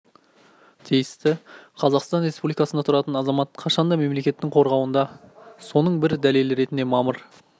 тиісті қазақстан республикасында тұратын азамат қашан да мемлекеттің қорғауында соның бір дәлелі ретінде мамыр